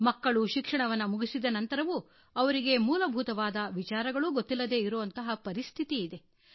ಮಕ್ಕಳು ಶಿಕ್ಷಣವನ್ನು ಮುಗಿಸಿದ ನಂತರವೂ ಅವರಿಗೆ ಮೂಲಭೂತವಾದ ವಿಚಾರಗಳೂ ಗೊತ್ತಿಲ್ಲದೇ ಇರುವ ಪರಿಸ್ಥಿತಿ ಇದೆ